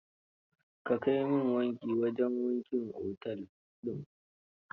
Ka kai min wanki a wajen wankin otel din.